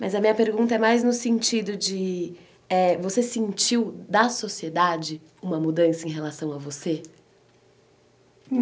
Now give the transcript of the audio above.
Mas a minha pergunta é mais no sentido de eh. Você sentiu, da sociedade, uma mudança em relação a você?